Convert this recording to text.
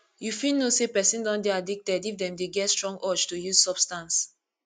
you fit know sey person don dey addicted if dem dey get strong urge to use substance